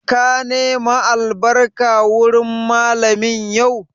Ka nema albarka wurin Mallamin yau?